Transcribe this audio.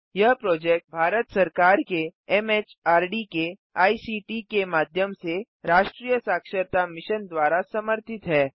यह प्रोजेक्ट भारत सरकार के एमएचआरडी के आईसीटी के माध्यम से राष्ट्रीय साक्षरता मिशन द्वारा समर्थित है